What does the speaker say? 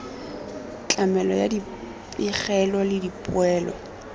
tlamelo ya dipegelo le dipoelo